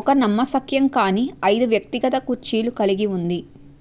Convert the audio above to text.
ఒక నమ్మశక్యంకాని ఐదు వ్యక్తిగత కుర్చీలు కలిగి ఉంది